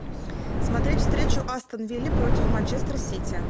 смотреть встречу астон вилла против манчестер сити